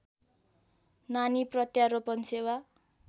नानी प्रत्यारोपण सेवा